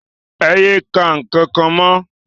É ye ka nkankan mọ!